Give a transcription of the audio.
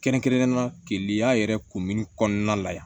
Kɛrɛnkɛrɛnnenya la keleya yɛrɛ kunbɛnni kɔnɔna la yan